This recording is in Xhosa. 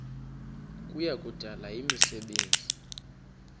kuya kudala imisebenzi